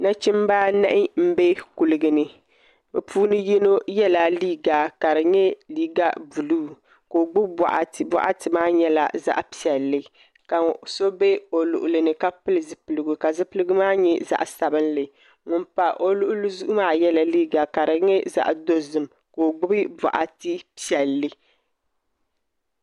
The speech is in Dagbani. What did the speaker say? Nachimbi anahi n bɛ kuligi ni bi puuni yinga yɛla liiga ka di nyɛ liiga buluu ka o gbubi boɣati boɣati maa nyɛla zaɣ piɛlli ka so bɛ o luɣuli ni ka pili zipiligu ka zipiligu maa nyɛ zaɣ sabinli ŋun pa o luɣuli zuɣu maa yɛla liiga ka di nyɛ zaɣ dozim ka o gbubi boɣati piɛlli